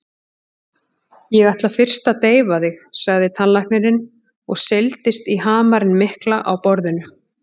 Ég ætla fyrst að deyfa þig, sagði tannlæknirinn og seildist í hamarinn mikla á borðinu.